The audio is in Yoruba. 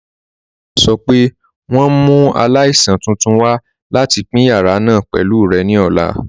Nọọ̀si náà sọ̀ pé wọn n mú aláìsàn tuntun wà láti pin yàrà náà pẹ̀lú rẹ̀ ní ọ̀la.